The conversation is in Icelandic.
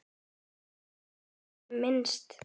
Enda hvergi á hann minnst.